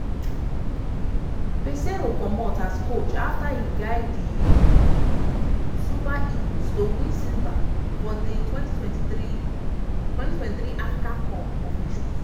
peseiro comot as coach afta e guide di super eagles to win silver for di 2023 2023 africa cup of nations